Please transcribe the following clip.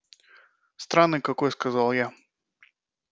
странный какой сказал я